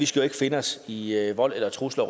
skal finde os i i vold eller trusler